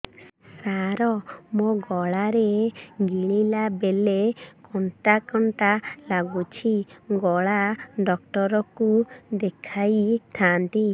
ସାର ମୋ ଗଳା ରେ ଗିଳିଲା ବେଲେ କଣ୍ଟା କଣ୍ଟା ଲାଗୁଛି ଗଳା ଡକ୍ଟର କୁ ଦେଖାଇ ଥାନ୍ତି